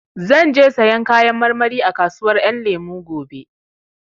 Zan je sayan Kayan marmari a kasuwar Ƴan Lemu gobe